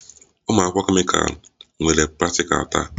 Ụmụ akwụkwọ kemịkal nwere praktikal taa